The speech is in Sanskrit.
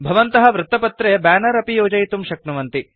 भवन्तः वृत्तपत्रे ब्यानर अपि योजयितुं शक्नुवन्ति